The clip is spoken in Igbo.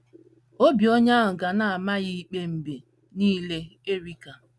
Obi onye ahụ ga na - ama ya ikpe mgbe niile, "Erica".